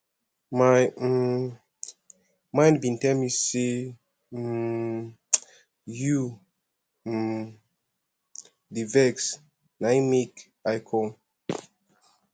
my um mind bin tell me sey um you um dey vex na im make i com